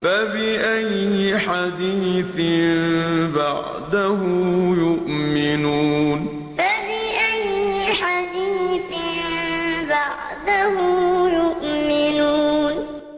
فَبِأَيِّ حَدِيثٍ بَعْدَهُ يُؤْمِنُونَ فَبِأَيِّ حَدِيثٍ بَعْدَهُ يُؤْمِنُونَ